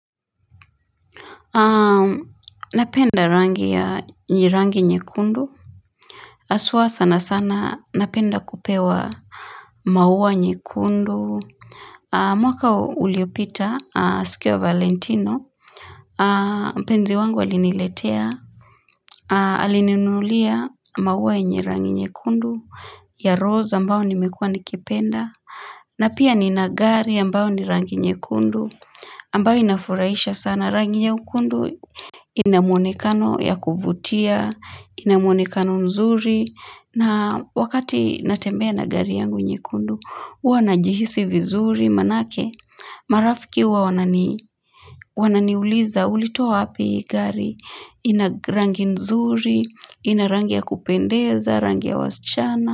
Napenda rangi ya njirangi nyekundu aswa sana sana napenda kupewa maua nyekundu mwaka uliopita sikiwa valentino mpenzi wangu aliniletea alininulia maua yenye rangi nyekundu ya rose ambao nimekuwa nikipenda na pia ni nagari ambao ni rangi nyekundu ambao inafuraisha sana rangi nyekundu Inamuonekano ya kuvutia, inamuonekano nzuri na wakati natembea na gari yangu nye kundu Uwa na jihisi vizuri manake marafiki wa wananiuliza ulitoa wapi hii gari Inarangi nzuri, inarangi ya kupendeza, rangi ya wasichana.